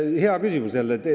Hea küsimus jälle.